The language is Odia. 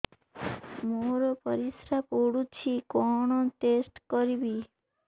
ମୋର ପରିସ୍ରା ପୋଡୁଛି କଣ ଟେଷ୍ଟ କରିବି